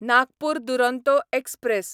Nagpur Duronto express